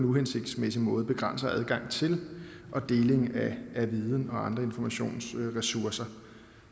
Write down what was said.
uhensigtsmæssig måde der begrænser adgang til og deling af viden og andre informationsressourcer